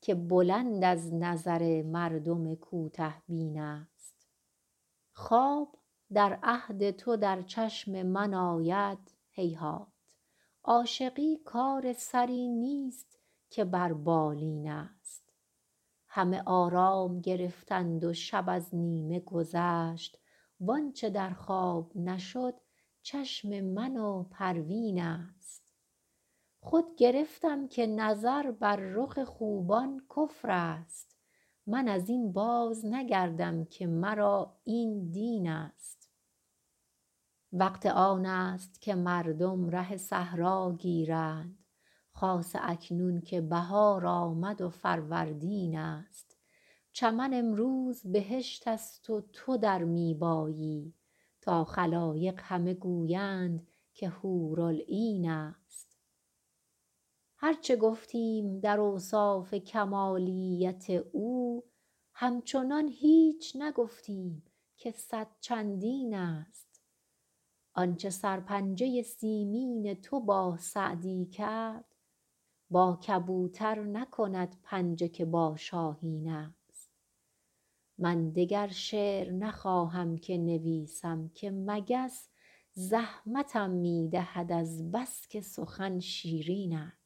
که بلند از نظر مردم کوته بین است خواب در عهد تو در چشم من آید هیهات عاشقی کار سری نیست که بر بالین است همه آرام گرفتند و شب از نیمه گذشت وآنچه در خواب نشد چشم من و پروین است خود گرفتم که نظر بر رخ خوبان کفر است من از این بازنگردم که مرا این دین است وقت آن است که مردم ره صحرا گیرند خاصه اکنون که بهار آمد و فروردین است چمن امروز بهشت است و تو در می بایی تا خلایق همه گویند که حورالعین است هر چه گفتیم در اوصاف کمالیت او همچنان هیچ نگفتیم که صد چندین است آنچه سرپنجه سیمین تو با سعدی کرد با کبوتر نکند پنجه که با شاهین است من دگر شعر نخواهم که نویسم که مگس زحمتم می دهد از بس که سخن شیرین است